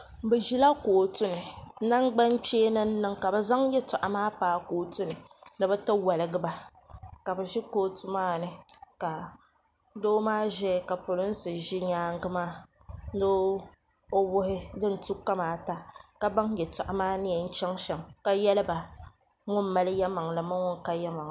Bi ʒila kootu ni nangban kpeeni n niŋ ka bi zaŋ yɛltɔɣa maa paayi kootu ni ni bi ti waligi ba ka bi ʒi kootu maa ni ka doo maa ʒɛya ka polinsi ʒi nyaanga maa ni o wuhi din tu kamaata ka baŋ yɛltɔɣa maa ni yɛn chaŋ shɛm ka yɛli ba ŋun mali yalimaŋli ni ŋun ka yalimaŋli.